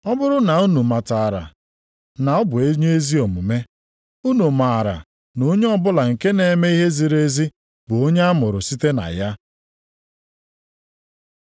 Ọ bụrụ na unu matara na ọ bụ onye ezi omume, unu maara na onye ọbụla nke na-eme ihe ziri ezi bụ onye a mụrụ site na ya.